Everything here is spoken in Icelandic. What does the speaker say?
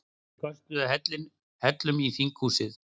Köstuðu hellum í þinghúsið